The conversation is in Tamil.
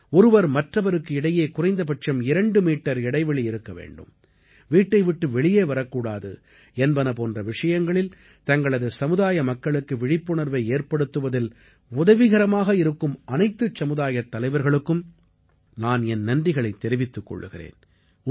ஒருவர் மற்றவருக்கு இடையே குறைந்தபட்சம் 2 மீட்டர் இடைவெளி இருக்க வேண்டும் வீட்டை விட்டு வெளியே வரக்கூடாது என்பன போன்ற விஷயங்களில் தங்களது சமுதாய மக்களுக்கு விழிப்புணர்வை ஏற்படுத்துவதில் உதவிகரமாக இருக்கும் அனைத்துச் சமுதாயத் தலைவர்களுக்கும் நான் என் நன்றிகளைத் தெரிவித்துக் கொள்கிறேன்